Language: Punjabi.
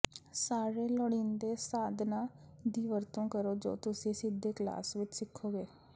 ਸਾਰੇ ਲੋੜੀਂਦੇ ਸਾਧਨਾਂ ਦੀ ਵਰਤੋਂ ਕਰੋ ਜੋ ਤੁਸੀਂ ਸਿੱਧੇ ਕਲਾਸ ਵਿੱਚ ਸਿੱਖੋਗੇ